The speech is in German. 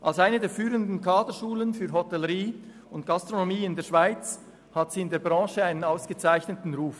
Als eine der führenden Kaderschulen für Hotellerie und Gastronomie in der Schweiz hat sie in der Branche einen ausgezeichneten Ruf.